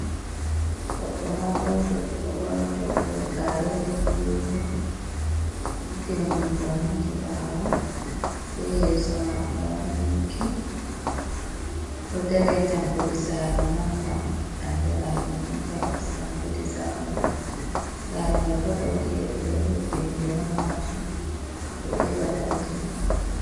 Goɗdo maudojo o borni toggol ga rewol bulu wol o nyukkini jungoom hedi ɓawo be yeso mako ma ɗo yunki, oɗo dari ha tankudi sare manga andiraɗum inteloc tankudi zamanu sare mai bo ɗaudi leɗɗe ɗo heɓɓini nder majum odo ewa ɗaudi mai.